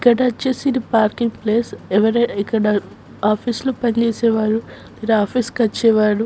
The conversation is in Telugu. ఇక్కడ వచ్చేసి ఇది పార్కింగ్ ప్లేస్ ఇక్కడ ఆఫీసు లో పని చేసేవాలు ఇక్కడ ఆఫీసు కి వచ్చేవాళ్ళు --